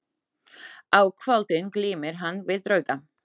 Á kvöldin glímir hann við drauga.